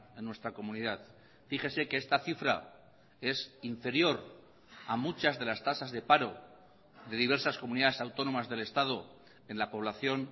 en nuestra comunidad fíjese que esta cifra es inferior a muchas de las tasas de paro de diversas comunidades autónomas del estado en la población